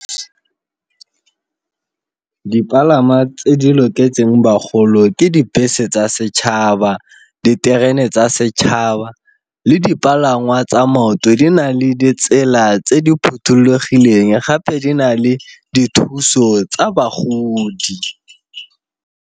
Dipalama tse di loketseng bagolo ke dibese tsa setšhaba, diterene tsa setšhaba le dipalangwa tsa maoto di na le ditsela tse di phothulogileng gape di na le dithuso tsa bagodi.